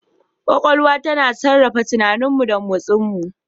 Kwakwalwa tana sarrafa tunaninmu da motsinmu.